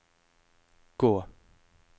gå